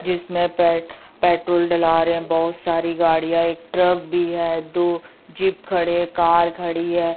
जिसमें पेट पेट्रोल डाला रहे है बहोत सारी गाड़ियां एक ट्रक भी है दो जीप खड़े है एक कार खड़ी हैं।